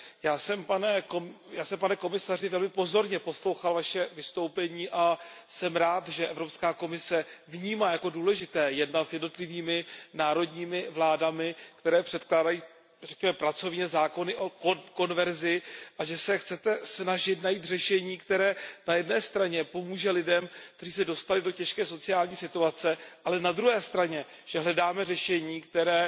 Já jsem pane komisaři velmi pozorně poslouchal Vaše vystoupení a jsem rád, že Evropská komise vnímá jako důležité jednat s jednotlivými národními vládami, které předkládají, řekněme, pracovně, zákony o konverzi, a že se snažíme najít řešení, které na jedné straně pomůže lidem, kteří se dostali do těžké sociální situace, ale na druhé straně, že hledáme řešení, které